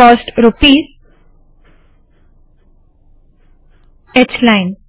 coast rupees h line